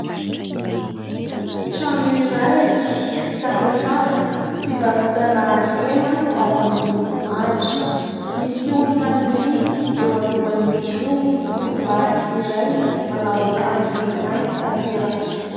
Trano iray vita amin'ny hazo fivarotana hena ao amin'ny Andry. Misy olona mividy eo alohan'izy io, tovolahy iray manao akanjo mainty tanteraka.